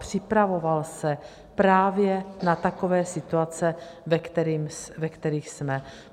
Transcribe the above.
Připravoval se právě na takové situace, ve kterých jsme.